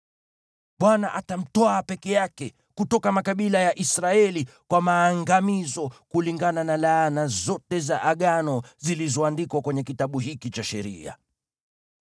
Bwana atamtwaa peke yake kutoka makabila ya Israeli kwa maangamizo, kulingana na laana zote za Agano zilizoandikwa kwenye Kitabu hiki cha Sheria.